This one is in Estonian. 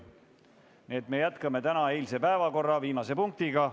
Nii et me jätkame täna tööd eilse päevakorra viimase punktiga.